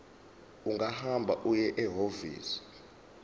ungahamba uye ehhovisi